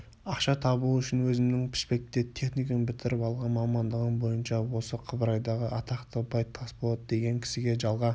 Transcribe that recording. ақша табу үшін өзімнің пішпекте техникум бітіріп алған мамандығым бойынша осы қыбырайдағы атақты бай тасболат деген кісіге жалға